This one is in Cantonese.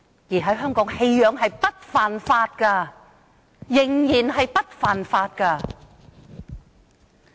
在香港，棄養並非犯法，仍然不屬犯法行為。